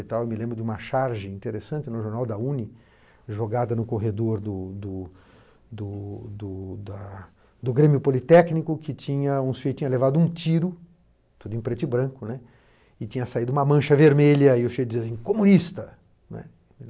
Eu me lembro de uma charge interessante no Jornal da u nê ê, jogada no corredor do do do do do da do Grêmio Politécnico, que tinha levado um tiro, tudo em preto e branco, né, e tinha saído uma mancha vermelha, e o chefe dizia assim, comunista, né.